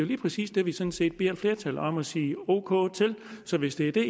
lige præcis det vi sådan set beder flertallet om at sige ok til så hvis det er det